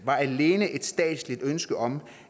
var alene et statsligt ønske om